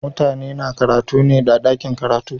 Mutane na karatu ne a dakin karatu.